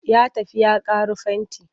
Ya tafi ya ƙaro fenti.